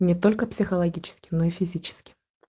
не только психологически мной физически